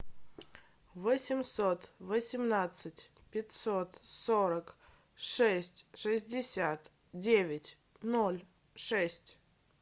восемьсот восемнадцать пятьсот сорок шесть шестьдесят девять ноль шесть